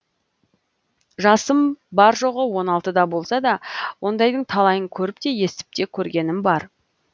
жасым бар жоғы он алтыда болса да ондайдың талайын көріп те естіп те көргенім бар